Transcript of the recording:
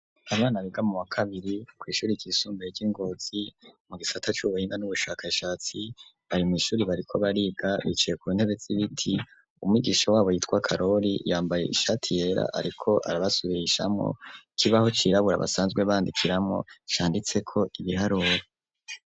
Abana biga mu wa kabiri, kw’ishuri ryisumbeye ry'i Ngozi, mu gisata c’ubuhinga, n'ubushakashatsi, bari mw’ishuri bariko bariga; bicaye ku ntebe z’ibiti, umwigisha wabo yitwa karori, yambaye ishati yera, ariko arabasubirishamwo; ikibaho cirabura basanzwe bandikiramwo, canditseko ibiharuro.